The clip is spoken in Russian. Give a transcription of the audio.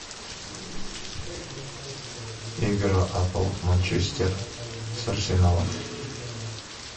игра апл манчестер с арсеналом